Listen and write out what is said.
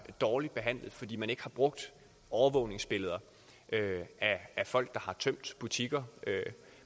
dårligt behandlet fordi man ikke har brugt overvågningsbilleder af folk der har tømt butikker